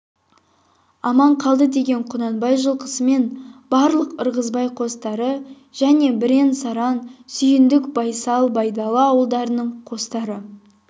аман қалды деген құнанбай жылқысы мен барлық ырғызбай қостары және бірен-саран сүйіндік байсал байдалы ауылдарының қостары